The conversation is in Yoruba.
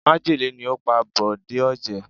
Májèlé ni ó pa Bòjé Ọ̀jẹ̀